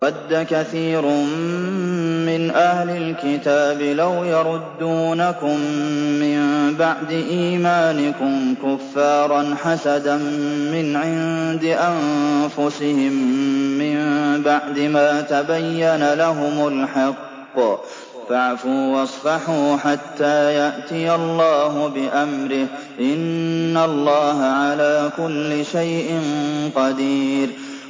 وَدَّ كَثِيرٌ مِّنْ أَهْلِ الْكِتَابِ لَوْ يَرُدُّونَكُم مِّن بَعْدِ إِيمَانِكُمْ كُفَّارًا حَسَدًا مِّنْ عِندِ أَنفُسِهِم مِّن بَعْدِ مَا تَبَيَّنَ لَهُمُ الْحَقُّ ۖ فَاعْفُوا وَاصْفَحُوا حَتَّىٰ يَأْتِيَ اللَّهُ بِأَمْرِهِ ۗ إِنَّ اللَّهَ عَلَىٰ كُلِّ شَيْءٍ قَدِيرٌ